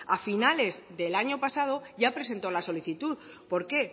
a finales del año pasado ya presentó la solicitud por qué